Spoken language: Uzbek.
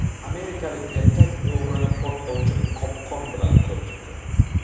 Amerikalik erkak o‘g‘rini portlovchi qopqon bilan qo‘rqitdi .